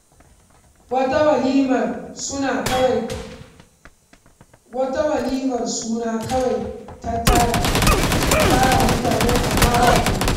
Wata walimar suna kawai ta tara, a tara mutane amma ba komai.